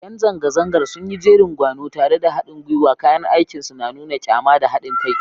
Yan zanga-zangar sun yi jerin gwano tare da hadin gwiwa, kayan aikinsu na nuna kyama da hadin kai.